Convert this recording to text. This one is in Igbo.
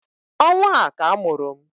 Ọnwa a ka a mụrụ m